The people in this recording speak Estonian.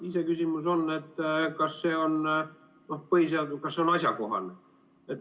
Iseküsimus on, kas see on asjakohane.